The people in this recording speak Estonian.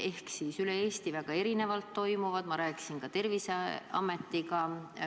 Need toimivad üle Eesti väga erinevalt, ma rääkisin Terviseametiga.